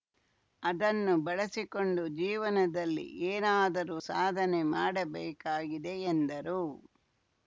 ಅದನ್ನು ಬಳಸಿಕೊಂಡು ಜೀವನದಲ್ಲಿ ಏನಾದರೂ ಸಾಧನೆ ಮಾಡಬೇಕಾಗಿದೆ ಎಂದರು